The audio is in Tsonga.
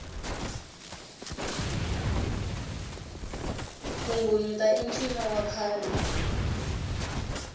ku nghunyuta i ncino wa khale